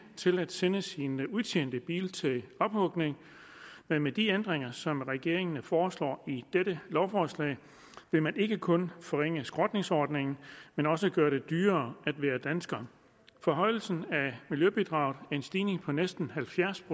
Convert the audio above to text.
til at sende sin udtjente bil til ophugning men med de ændringer som regeringen foreslår i dette lovforslag vil man ikke kun forringe skrotningsordningen men også gøre det dyrere at være dansker forhøjelse af miljøbidraget en stigning på næsten halvfjerds